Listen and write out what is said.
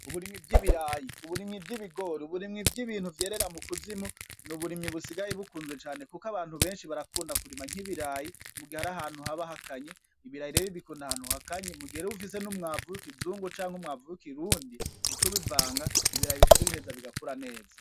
Uburimwi bw'ibirayi uburimwi vy'ibigore uburimwi vy'ibintu vyerera mu kuzimu ni uburimyi busigaye bukunzwe cane, kuko abantu benshi barakunda kurima nk'ibirayi mugihe ari ahantu haba hakanyi ibirayi rebi bikunda ahantu hakanyi mugiherewe ufise n'umwavuwiko izungu canke umwavuwko i rundi mu co ubivanga ibirayi bica bigheza bigakura neza.